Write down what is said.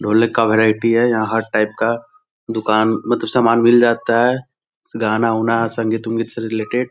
ढोलक का वैरायटी है | यहाँ हर टाइप का दुकान मतलब सामान मिल जाता है गाना वाना संगीत वंगीत से रिलेटेड |